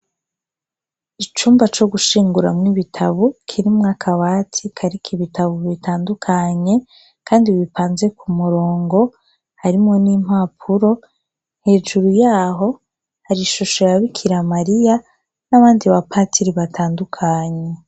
Icumba co gushinguramwo ibitabu kirimwo akabati kariko ibitabu bitandukanye, kandi bipanze Ku murongo , harimwo n' impapuro, hejuru yaho, hari ishusho ya Bikira Mariya, n' abandi bapatiri batandukanye.